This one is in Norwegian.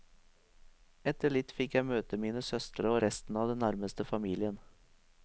Etter litt fikk jeg møte mine søstre og resten av den nærmeste familien.